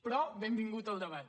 però benvingut el debat